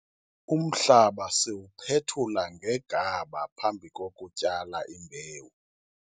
umhlaba siwuphethula ngegaba phambi kokutyala imbewu